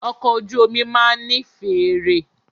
Ọkọ̀ ojú omi máà ní fèèrè.